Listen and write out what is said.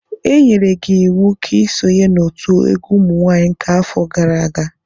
Enyere gi iwu ka i sonye n'otu egwu umunwaanyị nke afo gara aga!